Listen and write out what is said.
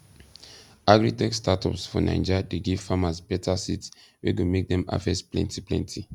agritech startups for naija dey give farmers better seeds wey go make dem harvest plenty plenty